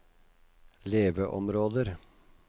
leveområder